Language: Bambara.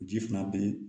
Ji fana be ye